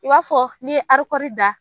I b'a fɔ ni ye arikɔri da.